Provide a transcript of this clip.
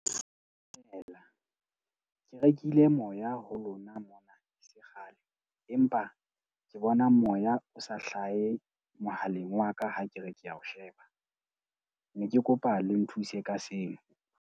Stela, ke rekile moya ho lona mona e sekgale, empa ke bona moya o sa hlahe mohaleng wa ka ha ke re ke a o sheba. Ne ke kopa le nthuse ka seo.